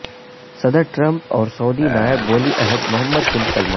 صدر ٹرمپ اور سعودی نائب ولی عہد محمد بن سلمان